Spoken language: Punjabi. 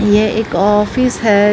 ਯੇ ਇੱਕ ਆਫ਼ਿਸ ਹੈ।